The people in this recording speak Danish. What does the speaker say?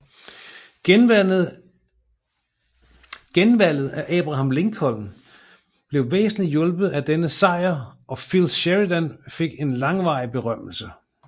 Genvalget af Abraham Lincoln blev væsentligt hjulpet af denne sejr og Phil Sheridan fik en varig berømmelse